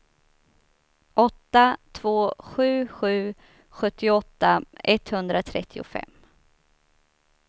åtta två sju sju sjuttioåtta etthundratrettiofem